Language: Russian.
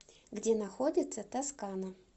где находится тоскана